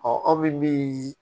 aw bɛ min